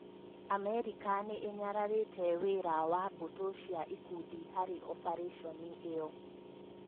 Amerika nĩ ĩnyararĩte wĩra wa mbũtũ cia ikundi harĩ obarĩconi ĩyo.